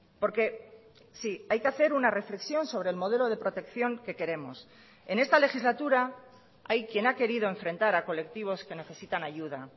porque sí hay que hacer una reflexión sobre el modelo de protección que queremos en esta legislatura hay quien ha querido enfrentar a colectivos que necesitan ayuda